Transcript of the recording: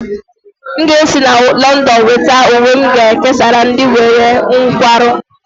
M ga-esi na Lọndọn weta uwe m ga-ekesara ndị nwere nkwarụ